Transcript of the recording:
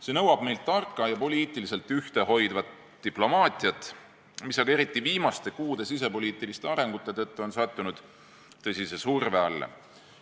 See nõuab meilt tarka ja poliitiliselt ühtehoidvat diplomaatiat, mis aga eriti viimaste kuude sisepoliitiliste sündmuste tõttu on sattunud tõsise surve alla.